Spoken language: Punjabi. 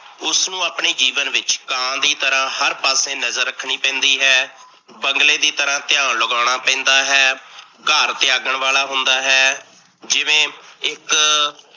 ਉਸਨੂੰ ਆਪਣੇ ਜੀਵਨ ਵਿੱਚ ਕਾਂ ਦੀ ਤਰਾਂ ਹਰ ਤਰ੍ਹਾਂ ਨਜਰ ਰੱਖਣੀ ਪੈਂਦੀ ਹੈ, ਬੰਗਲੇ ਦੀ ਤਰ੍ਹਾਂ ਧਿਆਨ ਲਗਾਉਣਾ ਪੈਂਦਾ ਹੈ, ਘਰ ਤਿਆਗਣ ਵਾਲਾ ਹੁੰਦਾ ਹੈ ਜਿਵੇਂ ਇੱਕ